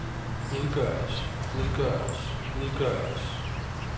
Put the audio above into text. udgøres udgøres udgøres